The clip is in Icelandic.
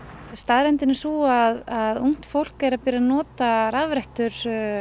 staðreyndin er sú að ungt fólk er að byrja að nota rafrettur